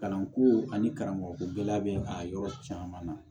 Kalanko ani karamɔgɔ ko gɛlɛya bɛ a yɔrɔ caman na